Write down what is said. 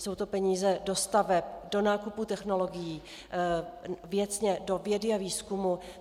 Jsou to peníze do staveb, do nákupů technologií, věcně do vědy a výzkumu.